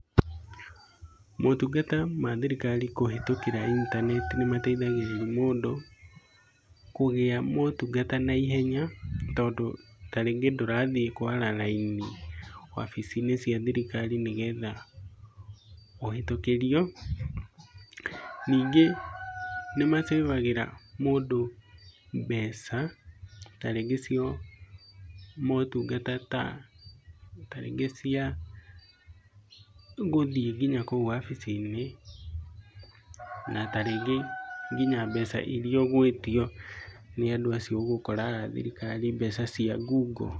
Motungata ma thirikari kũhĩtũkĩra intaneti nĩmateithagĩrĩa mũndũ kũgĩa motungata na ihenya. Tondu tarĩngĩ ndũrathiĩ kwara raini, wabici-inĩ cia thirikari nĩgetha ũhĩtũkĩrio. Nyingĩ nĩmasafagĩra mũndũ mbeca, tarĩngĩ cia motungata, tarĩngĩ cia gũthiĩ nginya kũu mawabici-inĩ. Na tarĩngĩ nginya mbeca iria ũgwĩtio nĩ andũ arĩa ũgũkora a thirikari, mbeca cia ngungo.